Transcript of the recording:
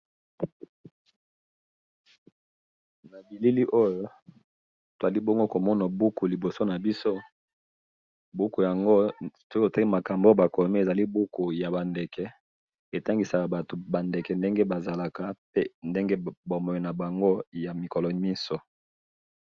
Elili oyo tazali komona buku liboso nabiso, buku yango soki totangi makambo oyo bakomi, ezali buku yabandeke, etangisaka batu bandeke ndenge bazalaka, mpe ndenge bomoï nabango yamikolo nyonso